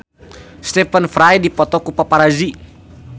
Stephen Fry dipoto ku paparazi